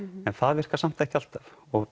en það virkar samt ekki alltaf og